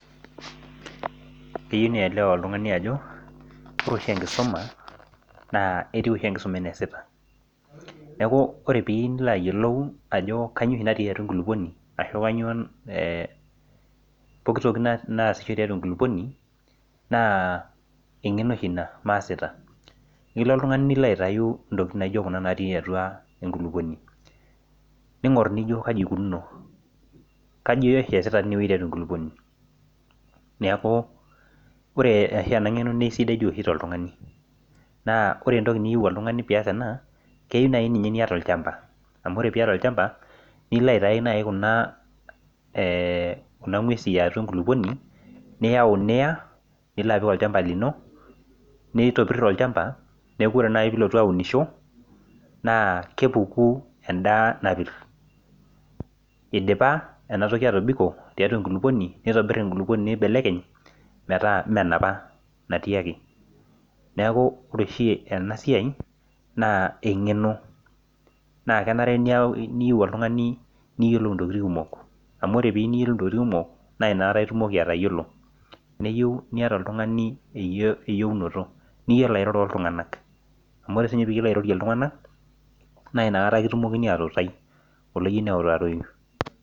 Keyieu oltung'ani neelewa Ajo ore enkusuma netieu oshi enkusuma enaa esita neeku ore piyieu nilo ayiolou Ajo kainyio oshi natii atua enkulupuoni arashu kainyio ee pokitoki nasisho tiatua enkulupuoni naa eng'eno oshi ena masita nilo oltung'ani nilo aitau ntokitin naijio Kuna natii atua enkulupuoni ning'or nijo kaji eikunono kainyio oshi eesitaa tiatua enkulupuoni neeku ore oshi ena ng'eno na aisidai oshi tooltung'ani naa ore entoki niyieu oltung'ani pee eyas ena naa keyieu naji ninye niyata olchamba amu ore piata olchamba nilo naaji aitau Kuna ee ng'uesi yatua enkulupuoni niyau Niya nilo apik olchamba lino nitopir olchamba neeku ore naaji pilotu aunisho naa kepuku endaa napir eidipa ena toki atobiko tiatua enkulupuoni nitobir enkulupuoni nibelekeny metaa mmee enapa natii neeku ore oshi ena siai naa eng'eno naa kenare niyieu oltung'ani niyiolou ntokitin kumok amu piyieu niyiolou ntokitin kumok naa ena kata etumoki atayiolo neyieu niata oltung'ani eyiunoto niyiolou airoro oltung'ana amu ore sii piyiolou airorie iltung'ana naa enakata kitumokini atutai oloyiolo neutaroi